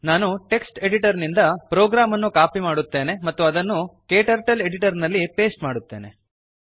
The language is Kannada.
ನಾನು ಟೆಕ್ಸ್ಟ್ ಎಡಿಟರ್ ನಿಂದ ಪ್ರೋಗ್ರಾಮ್ ಅನ್ನು ಕಾಪಿ ಮಾಡುವೆನು ಮತ್ತು ಅದನ್ನು ಕ್ಟರ್ಟಲ್ ಎಡಿಟರ್ ನಲ್ಲಿ ಪೇಸ್ಟ್ ಮಾಡುವೆನು